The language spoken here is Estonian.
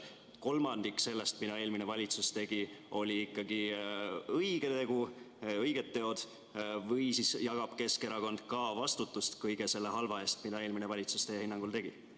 Kas kolmandik sellest, mida eelmine valitsus tegi, olid ikkagi õiged teod või jagab ka Keskerakond vastutust kõige selle halva eest, mida eelmine valitsus teie hinnangul tegi?